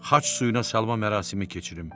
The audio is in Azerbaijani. xaç suyuna salma mərasimi keçirim.